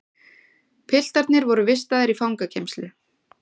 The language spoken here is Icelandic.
Piltarnir voru vistaðir í fangageymslu